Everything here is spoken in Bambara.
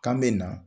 K'an bɛ na